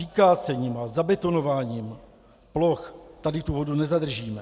Vykácením a zabetonováním ploch tady tu vodu nezadržíme.